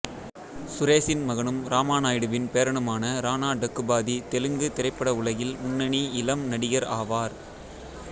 சுரேசின் மகனும் ராமாநாயுடுவின் பேரனுமான ராணா டக்குபாதி தெலுங்குத் திரைப்பட உலகில் முன்னணி இளம் நடிகர் ஆவார்